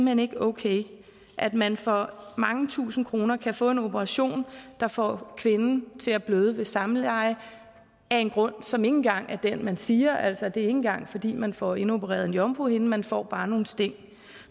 hen ikke er okay at man for mange tusinde kroner kan få en operation der får kvinden til at bløde ved samleje af en grund som ikke engang at den man siger altså det er ikke engang fordi man får indopereret en jomfruhinde man får bare nogle sting